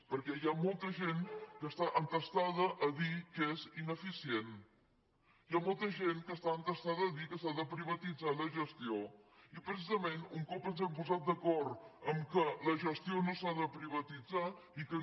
perquè hi ha molta gent que està entestada a dir que és ineficient hi ha molta gent que està entestada a dir que s’ha de privatitzar la gestió i precisament un cop ens hem posat d’acord que la gestió no s’ha de privatitzar i que no